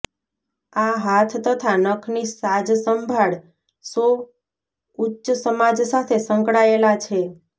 આ હાથ તથા નખની સાજસંભાળ શો ઉચ્ચ સમાજ સાથે સંકળાયેલા છે